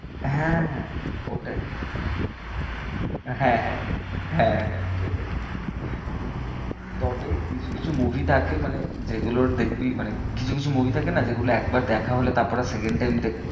হ্যাঁ, হ্যাঁ, ওটাই হ্যাঁ, হ্যাঁ, হ্যাঁ, হ্যাঁ, হ্যাঁ সেটাই তবে কিছু কিছু movie থাকে মানে যেগুলোর দেখবি মানে কিছু কিছু movie থাকে না যেগুলো একবার দেখা হলে তারপর আর second time